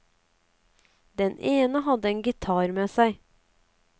Den ene hadde en gitar med seg.